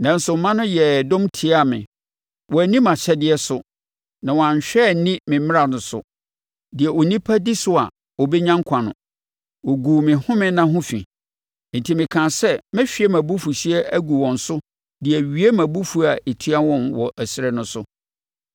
“ ‘Nanso mma no yɛɛ dɔm tiaa me. Wɔanni mʼahyɛdeɛ so, na wɔanhwɛ anni me mmara so, deɛ onipa di so a ɔbɛnya nkwa no. Wɔguu me home nna ho fi. Enti mekaa sɛ mɛhwie mʼabufuhyeɛ agu wɔn so de awie mʼabufuo a ɛtia wɔn wɔ ɛserɛ no so.